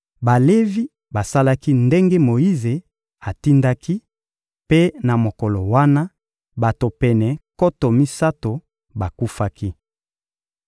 Balevi basalaki ndenge Moyize atindaki; mpe na mokolo wana, bato pene nkoto misato bakufaki.